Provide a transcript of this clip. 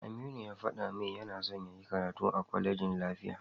Aminu ya faɗa min yana son yayi karatu a kwalejin lafiya.